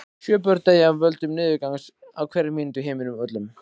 Sjö börn deyja af völdum niðurgangs á hverri mínútu í heiminum öllum.